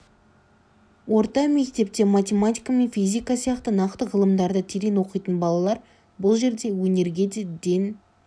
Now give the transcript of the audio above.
орта мектепте математика мен физика сияқты нақты ғылымдарды терең оқитын балалар бұл жерде өнерге де ден